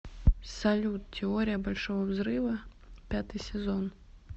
салют теория большого взрыва пятый сезон